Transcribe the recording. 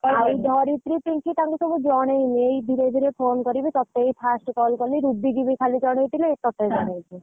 ଆଉ ଧରିତ୍ରୀ ପିଙ୍କି ତାଙ୍କୁ ସବୁ ଜଣେଇନି ଏଇ ଧୀରେ ଧୀରେ phone କରିବି ତତେଇ first call କଲି ରୁବି କି ବି ଖାଲି ଜଣେଇଥିଲି ତତେ ଣେଇଛି।